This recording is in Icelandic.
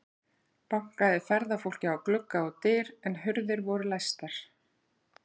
Bankaði ferðafólkið á glugga og dyr, en hurðir voru læstar.